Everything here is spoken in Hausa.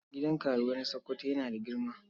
Gidan karuwai na Sokoto yana da girma.